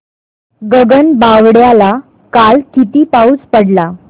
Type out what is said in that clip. गगनबावड्याला काल किती पाऊस पडला